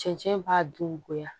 Cɛncɛn b'a dun goya